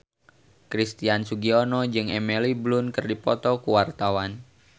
Christian Sugiono jeung Emily Blunt keur dipoto ku wartawan